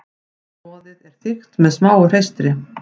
Roðið er þykkt með smáu hreistri.